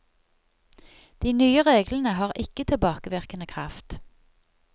De nye reglene har ikke tilbakevirkende kraft.